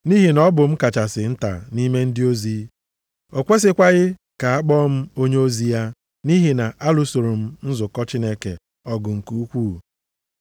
Nʼihi na ọ bụ m kachasị nta nʼime ndị ozi. O kwesikwaghị ka a akpọọ m onyeozi ya nʼihi na alụsoro m nzukọ Chineke ọgụ nke ukwuu.